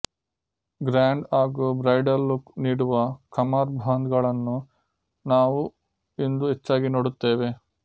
grand ಹಾಗೂ bridal look ನೀಡುವ ಕಮರ್ ಬಾಂದ್ ಗಳನ್ನು ನಾವು ಇಂದು ಹೆಚ್ಚಾಗಿ ನೋಡುತ್ತೆವೆ